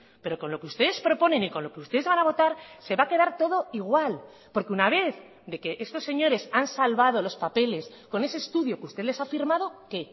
pero con lo que ustedes proponen y con lo que ustedes van a votar se va a quedar todo igual porque una vez de que estos señores han salvado los papeles con ese estudio que usted les ha firmado qué